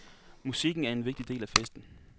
Musikken er en vigtig del af festen.